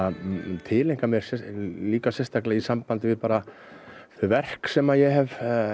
tileinkað mér í sambandi við þau verk sem ég hef